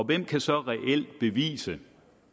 kan så reelt bevise